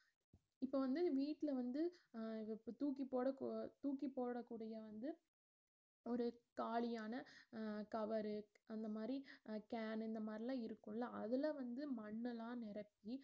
இப்ப வந்து வீட்டுல வந்து அஹ் இத இப்ப தூக்கிப்போட~ தூக்கிப்போடக் கூடிய வந்து ஒரு காலியான அஹ் cover உ அந்தமாரி can ன்னு இந்தமாரில்லாம் இருக்கும்ல அதுல வந்து மண்ணு எல்லா நிரப்பி